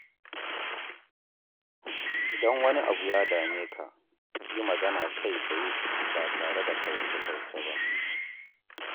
Idan wani abu ya dame ka, yi magana kai-tsaye ba tare da kauce-kauce ba.